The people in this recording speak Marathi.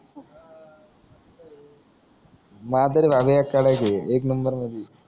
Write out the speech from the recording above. कडक एक नंबर मधी